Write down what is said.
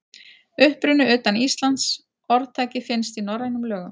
Uppruni utan Íslands Orðtakið finnst í norrænum lögum.